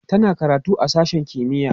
tana karatu a sashen kimiya